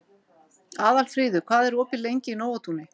Aðalfríður, hvað er opið lengi í Nóatúni?